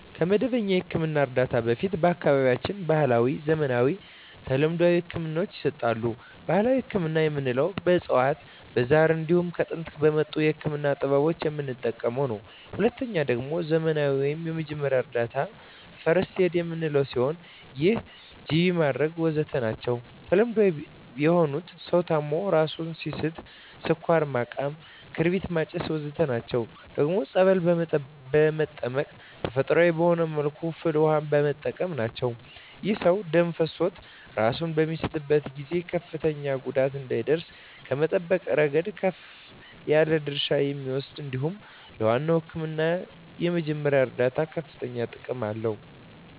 ከመደበኛ የሕክምና እርዳታ በፊት በአካባቢያችን ባህለዊ፣ ዘመናዊና ተለምዷዊ ህክምናወች ይሰጣሉ። ባህላዊ ህክምና የምንለዉ በእፅዋት በዛር እንዲሁም ከጥንት በመጡ የህክምና ጥበቦች የምንጠቀመዉ ነዉ። ሁለተኛዉ ደግሞ ዘመናዊ ወይም የመጀመሪያ እርዳታ(ፈርክት ኤድ) የምንለዉ ነዉ ይህም ጅቢ ማድረግ ወዘተ ናቸዉ። ተለምዳዊ የሆኑት ሰዉ ታሞ እራሱን ሲስት ስኳር ማቃም ክርቢት ማጨስ ወዘተ ናቸዉ። ደግሞም ፀበል በመጠመቅ ተፈጥሮአዊ በሆነ መልኩ ፍል ዉሃ በመጠቀም ናቸዉ። ይህም ሰዉ ደም ፈሶት እራሱን በሚስትበት ጊዜ ከፍተኛ ጉዳት እንዳይደርስበት ከመጠበቅ እረገድ ከፍ ያለ ድርሻ ይወስዳል እንዲሁም ለዋናዉ ህክምና የመጀመሪያ እርዳታ ከፍተኛ ጥቅም አለዉ።